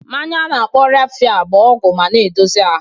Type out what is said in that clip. Mmanya a na-akpọ Raffia bụ ọgwụ ma na-edozi ahụ